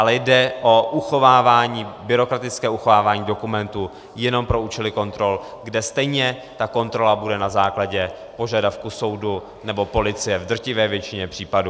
Ale jde o uchovávání, byrokratické uchovávání dokumentů jenom pro účely kontrol, kde stejně ta kontrola bude na základě požadavku soudu nebo policie v drtivé většině případů.